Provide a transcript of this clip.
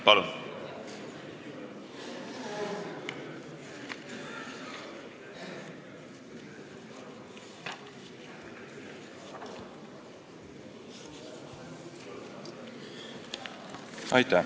Palun!